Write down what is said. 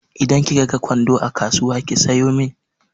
Idan kika ga kwando a kasuwa ki sayo min.